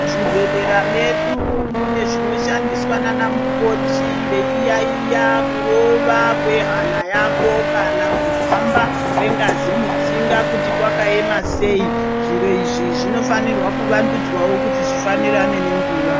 Muzvibhedhlera medu munezvishandiswa nanamukoti veyiyayiya kurova kwehhana yako kana kuhamba kwengazi mutsinga kuti kwakayema sei. Zviro izvi zvinofanirwa kuvandudzawo kuti zvifanirane nenguwa.